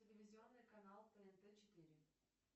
телевизионный канал тнт четыре